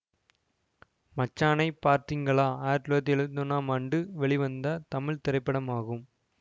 மச்சானை பார்த்தீங்களா ஆயிரத்தி தொள்ளாயிரத்தி எழுவத்தி ஒன்னாம் ஆண்டு வெளிவந்த தமிழ் திரைப்படமாகும்